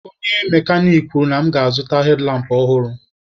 Onye mekanik kwuru na ị ga-azụta hedlampụ ọhụrụ.